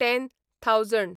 ten thousand